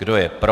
Kdo je pro?